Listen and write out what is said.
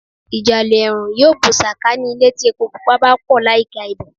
Ìjàlọ/ẹ̀ẹ̀rùn yóò bo sàkánì ilé tí epo pupa bá pọ̀ láyìíká ibẹ̀.